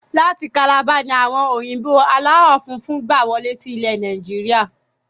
Láti kalabá ni àwọn òyìnbó aláwọ funfun gbà wọlé sí ilẹ̀ Nàìjíríà